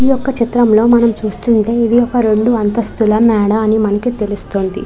ఈ యొక్క చిత్రంలో మనం చూస్తుంటే ఇది ఒక రెండు అంతస్తుల మేడా అని మనకి తెలుస్తుంది.